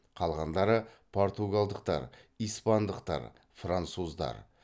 қалғандары португалдықтар испандықтар француздар